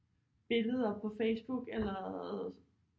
Billeder på Facebook eller